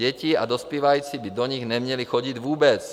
Děti a dospívající by do nich neměli chodit vůbec.